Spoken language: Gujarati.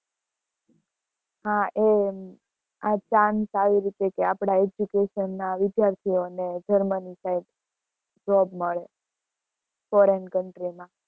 હા એ આ chance આવી રીતે કે આપડા education વિદ્યાર્થીઓ ને જર્મની side job મળે foreign country માં.